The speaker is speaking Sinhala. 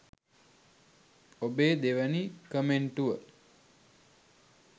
ඔබේ දෙවැනි කමෙන්ටුව